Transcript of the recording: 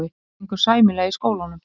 Mér gengur sæmilega í skólanum.